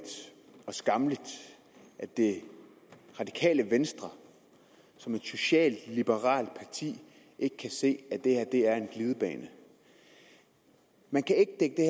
og skammeligt at det radikale venstre som et socialliberalt parti ikke kan se at det her er en glidebane man kan ikke dække